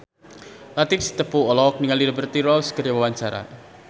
Latief Sitepu olohok ningali Liberty Ross keur diwawancara